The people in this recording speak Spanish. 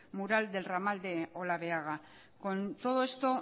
mural del ramal de olabeaga con todo esto